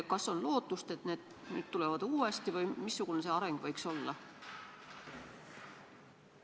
Kas on lootust, et need nüüd tulevad uuesti, või missugune see areng võiks olla?